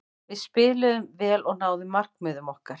Við spiluðum vel og náðum markmiðum okkar.